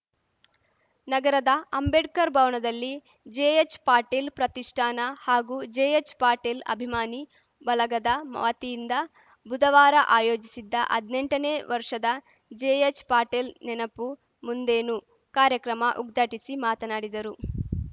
ನಗರದ ಅಂಬೇಡ್ಕರ್‌ ಭವನದಲ್ಲಿ ಜೆಎಚ್‌ ಪಾಟೇಲ್‌ ಪ್ರತಿಷ್ಠಾನ ಹಾಗೂ ಜೆಎಚ್‌ ಪಾಟೇಲ್‌ ಅಭಿಮಾನಿ ಬಳಗದ ವತಿಯಿಂದ ಬುಧವಾರ ಆಯೋಜಿಸಿದ್ದ ಹದ್ನೆಂಟನೇ ವರ್ಷದ ಜೆಎಚ್‌ಪಾಟೇಲ್‌ ನೆನಪು ಮುಂದೇನು ಕಾರ್ಯಕ್ರಮ ಉದ್ಘಾಟಿಸಿ ಮಾತನಾಡಿದರು